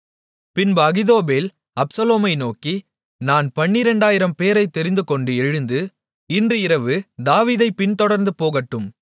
பின்பு அகித்தோப்பேல் அப்சலோமை நோக்கி நான் 12000 பேரைத் தெரிந்துகொண்டு எழுந்து இன்று இரவு தாவீதைப் பின்தொடர்ந்து போகட்டும்